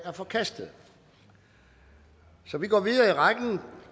er forkastet vi går videre i rækken